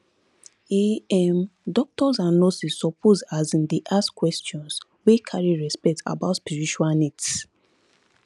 um um doctors and nurses suppose asin dey ask questions wey carry respect about spiritual needs